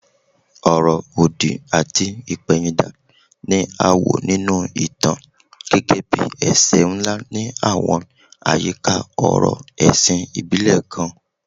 Ọ̀rọ̀ òdì àti ìpẹ̀yìndà ni a wò nínú ìtàn gẹ́gẹ́ bí ẹ̀ṣẹ̀ ńlá ní àwọn àyíká ọ̀rọ̀ ẹ̀sìn ìbílẹ̀ kan